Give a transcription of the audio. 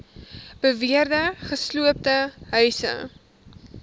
beweerde gesloopte huise